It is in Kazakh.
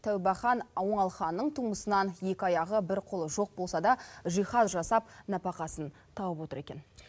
тәубәхан оңалханның тумысынан екі аяғы бір қолы жоқ болса да жиһаз жасап нәпақасын тауып отыр екен